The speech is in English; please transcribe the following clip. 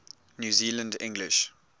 new zealand english